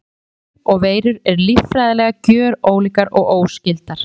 Bakteríur og veirur eru líffræðilega gjörólíkar og óskyldar.